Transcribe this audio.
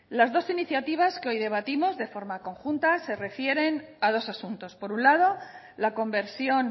las dos iniciativas que hoy debatimos de forma conjunta se refieren a dos asuntos por un lado la conversión